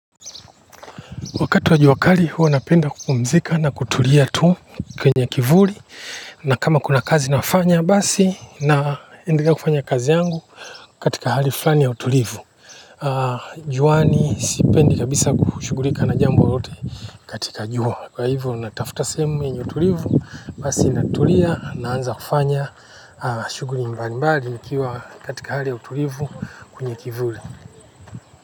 Wakati wa jua kali huwa napenda kupumzika na kutulia tu kwenye kivuli. Na kama kuna kazi nafanya basi naendelea kufanya kazi yangu katika hali fulani ya utulivu. Juani sipendi kabisa kushughulika na jambo lolote katika jua. Kwa hivyo natafuta sehemu yenye utulivu basi natulia naanza kufanya shughuli mbalimbali nikiwa katika hali ya utulivu kwenye kivuli.